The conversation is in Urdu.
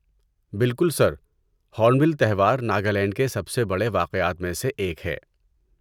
بالکل، سر! ہورنبل تہوار ناگالینڈ کے سب سے بڑے واقعات میں سے ایک ہے۔